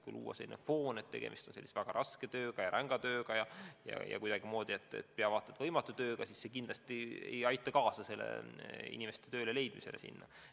Kui luua selline foon, et tegemist on väga raske, väga ränga tööga, kuidagimoodi vaata et pea võimatu tööga, siis see kindlasti ei aita kaasa inimeste leidmisele sinna.